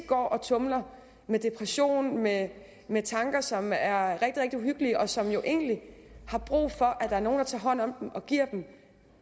går og tumler med depression med med tanker som er rigtig rigtig uhyggelige og som jo egentlig har brug for at der er nogen der tager hånd om dem og giver dem